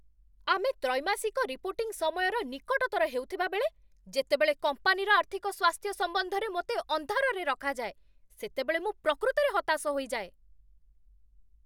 ଆମେ ତ୍ରୈମାସିକ ରିପୋର୍ଟିଂ ସମୟର ନିକଟତର ହେଉଥିବାବେଳେ, ଯେତେବେଳେ କମ୍ପାନୀର ଆର୍ଥିକ ସ୍ୱାସ୍ଥ୍ୟ ସମ୍ବନ୍ଧରେ ମୋତେ ଅନ୍ଧାରରେ ରଖାଯାଏ, ସେତେବେଳେ ମୁଁ ପ୍ରକୃତରେ ହତାଶ ହୋଇଯାଏ।